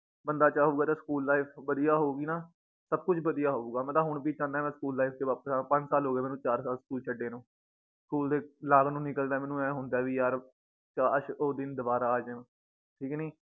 ਬੰਦਾ ਚਾਹੁਗਾ ਤੇ ਸਕੂਲ life ਬਧਿਆ ਹੋਊਗੀ ਨਾ ਸਬ ਕੁਛ ਬਧਿਆ ਹੋਊਗਾ ਮੈ ਤਾਂ ਹੁਣ ਵੀ ਚਾਹੁਣਾ ਏ ਮੈ ਸਕੂਲ life ਚ ਵਾਪਸ ਆਵਾਂ ਪੰਜ ਸਾਲ ਹੋਗੇ ਮੈਨੂੰ ਚਾਰ ਸਾਲ ਸਕੂਲ ਛੱਡੇ ਨੂੰ ਸਕੂਲ ਦੇ ਲਾਗੋਂ ਦੀ ਨਿਕਲਦਾ ਏਂ ਮੈਨੂੰ ਏਂ ਹੁੰਦਾ ਏ ਵੀ ਯਾਰ ਕਾਸ਼ ਉਹ ਦਿਨ ਦੋਬਾਰਾ ਆ ਜਨ ਠੀਕ ਨੀ